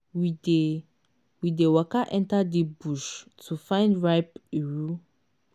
we dey we dey waka enter deep bush to find ripe iru